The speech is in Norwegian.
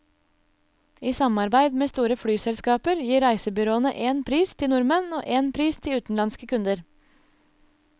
I samarbeid med store flyselskaper gir reisebyråene én pris til nordmenn og én pris til utenlandske kunder.